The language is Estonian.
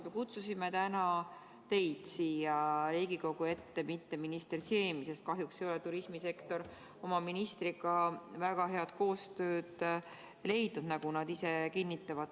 Me kutsusime täna siia Riigikogu ette teid, mitte minister Siemi, sest kahjuks ei ole turismisektor oma ministriga väga head koostööd leidnud, nagu nad ise kinnitavad.